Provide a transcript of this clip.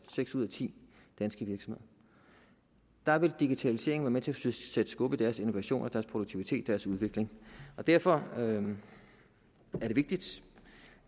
seks ud af ti danske virksomheder der vil digitaliseringen være med til til at sætte skub i deres innovation og deres produktivitet og deres udvikling derfor er det vigtigt